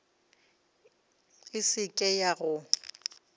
e se ke ya go